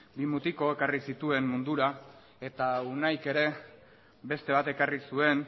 bi mutiko ekarri zituen mundura eta unaik ere beste bat ekarri zuen